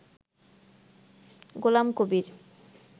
Golam Kabir